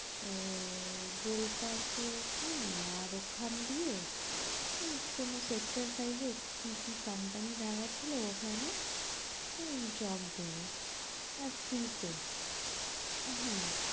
আহ গোল পার্কের ওখানে আর ওখান দিয়ে কি কি কোম্পানি দেয়াছিলো ওখানে job দেবে আর free তে হ্যাঁ